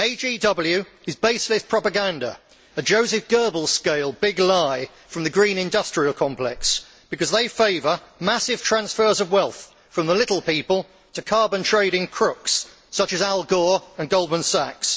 AGW is baseless propaganda, a Josef Goebbels scale big lie from the green industrial complex because they favour massive transfers of wealth from the little people to carbon trading crooks, such as Al Gore and Goldman Sachs.